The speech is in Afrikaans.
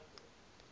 ex officio senior